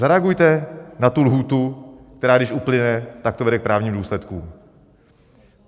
Zareagujte na tu lhůtu, která když uplyne, tak to vede k právním důsledkům!